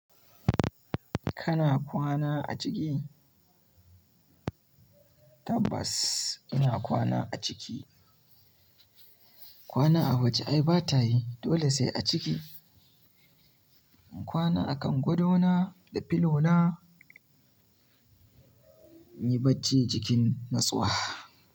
Kana kwana a ciki? Tabas ina kwana a ciki. Kwana a waje ai bata yi, dole sai a ciki. Inkwana akan gadona da filona, inyi bacci cikin na tsawa.